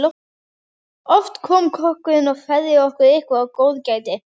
Oft kom kokkurinn og færði okkur eitthvert góðgæti.